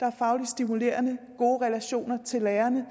der er fagligt stimulerende og gode relationer til lærerne